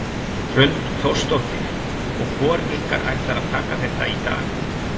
Hrund Þórsdóttir: Og hvor ykkur ætlar að taka þetta í dag?